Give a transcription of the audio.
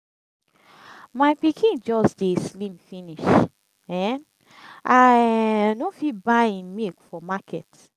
my pikin just dey slim finish. um i um no fit buy im milk for market.